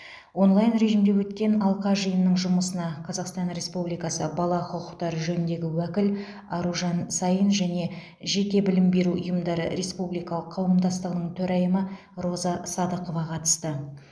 онлайн режимде өткен алқа жиынының жұмысына қазақстан республикасы бала құқықтары жөніндегі уәкіл аружан саин және жеке білім беру ұйымдары республикалық қауымдастығының төрайымы роза садықова қатысты